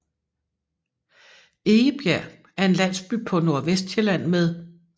Egebjerg er en landsby på Nordvestsjælland med